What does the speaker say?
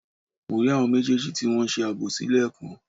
Mo rí àwọn méjèèjì tí wọn ń ṣe àbòsí lẹ́ẹ̀kan